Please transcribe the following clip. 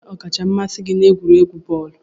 Kedu onye ọkacha mmasị gị n'egwuregwu bọọlụ?